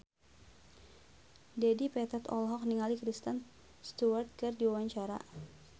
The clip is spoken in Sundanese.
Dedi Petet olohok ningali Kristen Stewart keur diwawancara